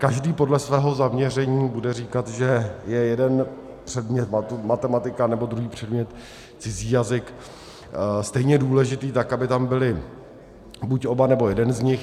Každý podle svého zaměření bude říkat, že je jeden předmět matematika, nebo druhý předmět cizí jazyk stejně důležitý, tak aby tam byly buď oba, nebo jeden z nich.